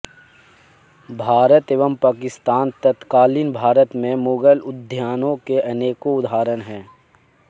भारत एवं पाकिस्तान तत्कालीन भारत में मुगल उद्यानों के अनेकों उदाहरण हैं